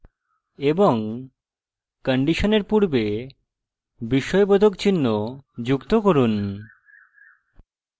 এবং condition পূর্বে বিস্ময়বোধক চিহ্ন যুক্ত করুন